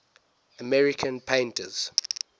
american painters